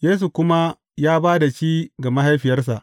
Yesu kuma ya ba da shi ga mahaifiyarsa.